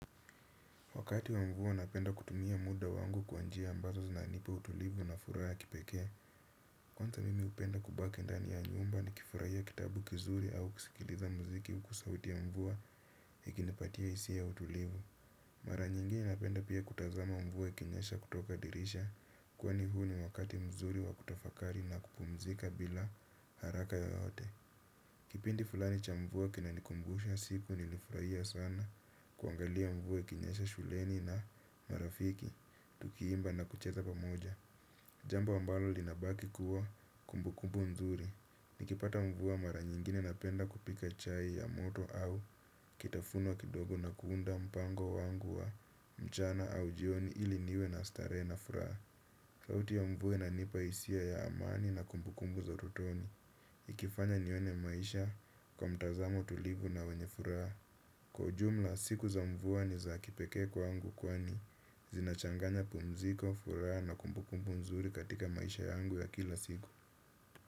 Wakati wa mvua napenda kutumia muda wangu kwa njia ambazo zinanipa utulivu na furaha ya kipekee. Kwanza mimi hupenda kubaki ndani ya nyumba nikifurahia kitabu kizuri au kisikiliza mziki huku sauti ya mvua ikinipatia hisia ya utulivu. Mara nyingine napenda pia kutazama mvua ikinyesha kutoka dirisha. Kwani huu ni wakati mzuri wa kutafakari na kupumzika bila haraka yoyote. Kipindi fulani cha mvua kinanikumbusha siku nilifurahia sana kuangalia mvua ikinyesha shuleni na marafiki, tukiimba na kucheza pamoja. Jamba ambalo linabaki kuwa kumbukumbu nzuri, nikipata mvua mara nyingine napenda kupika chai ya moto au kitafuno kidogo na kuunda mpango wangu wa mchana au jioni ili niwe na starehe na furaha sauti ya mvua inanipa hisia ya amani na kumbukumbu za utotoni. Ikifanya nione maisha kwa mtazamo tulivu na wenye furaha. Kwa ujumla, siku za mvua ni za kipekee kwangu kwani zinachanganya pumziko, furaha na kumbukumbu mzuri katika maisha yangu ya kila siku.